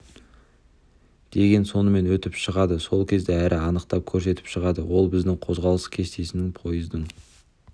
деген сонымен өтіп шығады сол кезде әрі анықтап көрсетіп шығады ол біздің қозғалыс кестесіне пойыздың